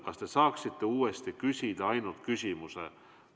Kas te saaksite uuesti küsida ainult küsimuse?